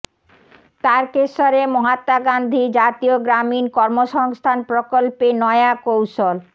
তারকেশ্বরে মহাত্মা গান্ধী জাতীয় গ্রামীণ কর্মসংস্থান প্রকল্পে নয়া কৌশল